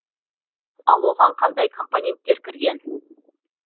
ал оған қандай компоненттер кірген